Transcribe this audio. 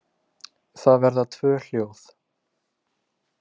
Það verða tvö hljóð.